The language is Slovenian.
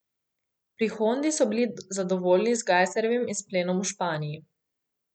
Pri Hondi so bili zadovoljni z Gajserjevim izplenom v Španiji.